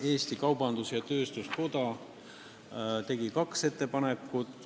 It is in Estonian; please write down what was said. Eesti Kaubandus-Tööstuskoda tegi kaks ettepanekut.